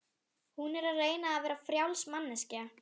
Hún er að reyna að vera frjáls manneskja.